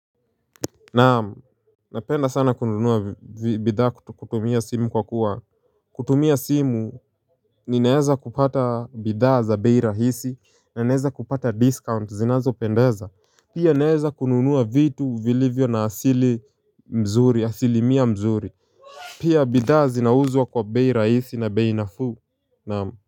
Naam. Napenda sana kununua bidhaa kutumia simu kwa kuwa kutumia simu ninaeza kupata bidhaa za bei rahisi na naeza kupata discount zinazopendeza. Pia naeza kununua vitu vilivyo na asili mzuri asilimia mzuri Pia bidhaa zinauzwa kwa bei rahisi na bei nafuu naam.